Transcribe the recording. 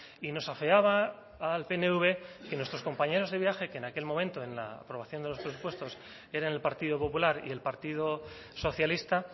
y nos afeaba al pnv que nuestros compañeros de viaje que en aquel momento en la aprobación de los presupuestos eran el partido popular y el partido socialista